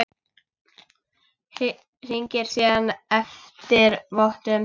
Hringir síðan eftir vottum.